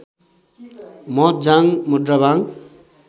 महत जाङ मोङ्राबाङ